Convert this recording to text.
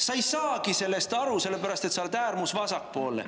" Sa ei saagi sellest aru, sellepärast et sa oled äärmusvasakpoolne.